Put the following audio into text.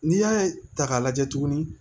N'i y'a ye ta k'a lajɛ tuguni